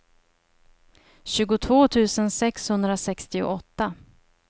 tjugotvå tusen sexhundrasextioåtta